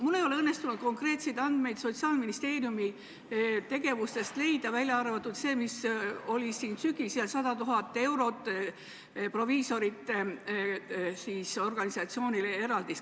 Minul ei ole õnnestunud konkreetseid andmeid Sotsiaalministeeriumi tegevuse kohta leida, välja arvatud see, mis oli siin sügisel – 100 000-eurone eraldis proviisorite organisatsioonile.